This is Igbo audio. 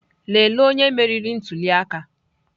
Lelee onye meriri ntuli aka!